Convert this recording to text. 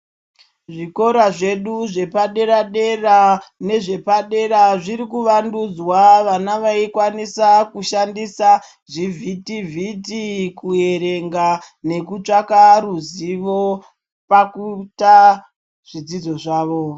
Zvikora zvedu zvepadera dera nezvepadera zvirikuvandudzwa vana vaikwanisa kushandisa zvivhiti vhiti kuerenga nekutsvaka ruzivo pakuita zvidzidzo zvavo.